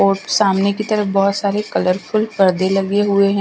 और सामने की तरफ बहुत सारे कलरफुल पर्दे लगे हुए हैं।